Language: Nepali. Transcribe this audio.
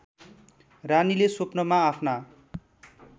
रानीले स्वप्नामा आफ्ना